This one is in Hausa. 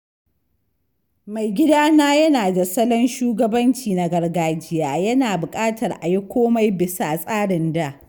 Maigidana yana da salon shugabanci na gargajiya, yana buƙatar a yi komai bisa tsarin da.